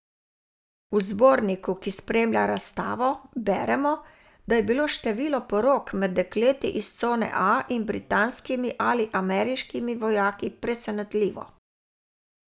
V zborniku, ki spremlja razstavo, beremo, da je bilo število porok med dekleti iz cone A in britanskimi ali ameriškimi vojaki presenetljivo.